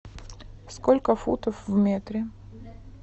сколько футов в метре